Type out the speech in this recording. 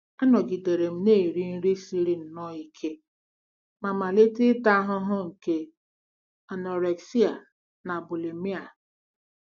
Anọgidere m na-eri nri siri nnọọ ike ma malite ịta ahụhụ nke anorexia na bulimia.